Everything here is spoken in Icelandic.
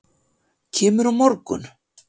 Kemurðu á morgun?